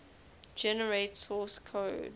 generate source code